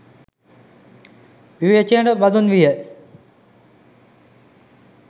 විවේචනයට බඳුන් විය.